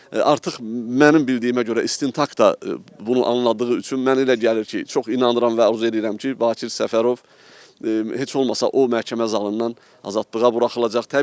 Artıq mənim bildiyimə görə istintaq da bunu anladığı üçün mən elə gəlir ki, çox inanıram və arzu edirəm ki, Bakir Səfərov heç olmasa o məhkəmə zalından azadlığa buraxılacaq.